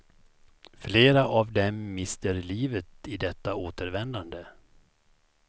Flera av dem mister livet i detta återvändande.